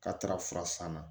K'a taara fura san na